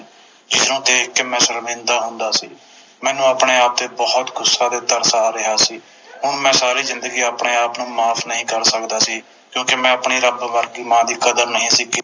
ਜਿਸਨੂੰ ਦੇਖ ਕੇ ਮੈਂ ਸ਼ਰਮਿੰਦਾ ਹੁੰਦਾ ਸੀ ਮੈਨੂੰ ਆਪਣੇ ਆਪ ਤੇ ਬੋਹੋਤ ਗੁੱਸਾ ਤੇ ਤਰਸ ਆ ਰਿਹਾ ਸੀ ਮੈਂ ਸਾਰੀ ਜਿੰਦਗੀ ਆਪਣੇ ਆਪ ਨੂੰ ਮਾਫ ਨਹੀਂ ਕਰ ਸਕਦਾ ਸੀ ਕਿਉਕਿ ਮੈਂ ਆਪਣੀ ਰੱਬ ਵਰਗੀ ਮਾਂ ਦੀ ਕਦਰ ਨਹੀਂ ਸੀ ਕੀਤੀ